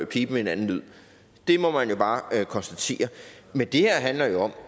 piben en anden lyd det må jeg jo bare konstatere men det her handler jo om